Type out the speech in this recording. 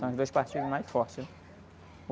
São os dois partidos mais fortes, né?